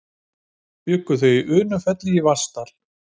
Bjuggu þau að Undirfelli í Vatnsdal.